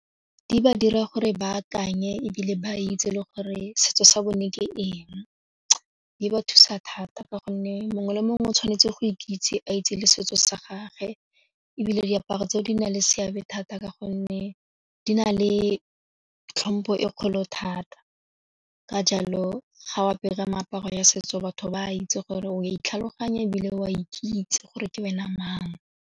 Di ba dira gore ba akanye ebile ba itse le gore setso sa bone ke eng, di ba thusa thata ka gonne mongwe le mongwe o tshwanetse go ikitse a itse le setso sa gagwe ebile re diaparo tseo di na le seabe thata ka gonne di na le tlhompho e kgolo thata, ka jalo ga o apere meaparo ya setso batho ba itse gore o a itlhaloganya ebile o ikitse gore ke wena mang.